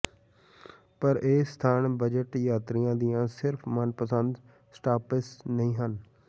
ਪਰ ਇਹ ਸਥਾਨ ਬਜਟ ਯਾਤਰੀਆਂ ਦੀਆਂ ਸਿਰਫ਼ ਮਨਪਸੰਦ ਸਟਾਪਸ ਨਹੀਂ ਹਨ